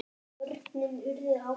Börnin urðu átta.